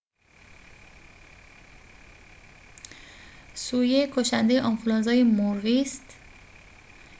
h5n1 سویه کشنده آنفلوانزای مرغی است